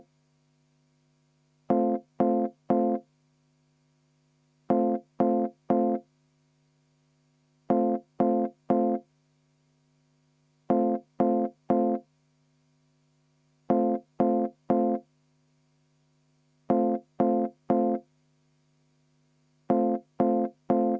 Vaheaeg 10 minutit.